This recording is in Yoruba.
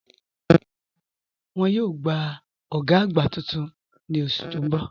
Wọ́n yòò gbà ògá àgbá tuntun ni oṣù tí n bọ̀.